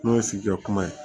N'o ye sigi ka kuma ye